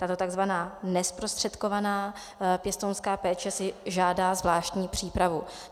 Tato tzv. nezprostředkovaná pěstounská péče si žádá zvláštní přípravu.